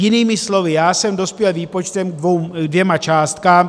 Jinými slovy, já jsem dospěl výpočtem k dvěma částkám.